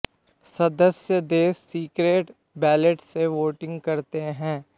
सदस्य देश secret ballot से वोटिंग करते हैं